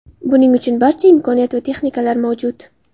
Buning uchun barcha imkoniyat va texnikalar mavjud.